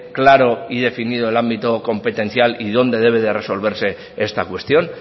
claro y definido el ámbito competencial y donde debe de resolverse esta cuestión